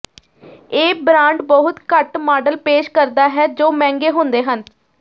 ਇਹ ਬ੍ਰਾਂਡ ਬਹੁਤ ਘੱਟ ਮਾਡਲ ਪੇਸ਼ ਕਰਦਾ ਹੈ ਜੋ ਮਹਿੰਗੇ ਹੁੰਦੇ ਹਨ